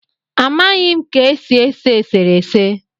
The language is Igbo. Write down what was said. Amaghị ka e si ese eserese